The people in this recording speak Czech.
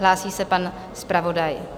Hlásí se pan zpravodaj.